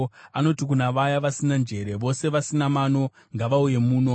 Anoti kuna vaya vasina njere, “Vose vasina mano ngavauye muno!